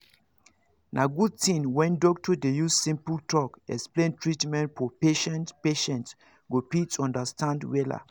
na good thing when doctor dey use simple talk explain treatment for patientpatient go fit understand wella